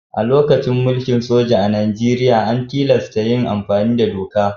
A lokacin mulkin soja a Najeriya, an tilasta yin amfani da doka.